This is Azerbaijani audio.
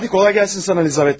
Hadi, kolay gəlsin sənə Lizaveta.